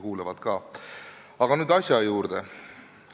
Aga nüüd asja juurde.